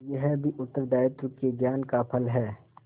यह भी उत्तरदायित्व के ज्ञान का फल है